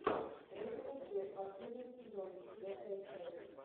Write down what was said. родина ждет последний сезон четвертая часть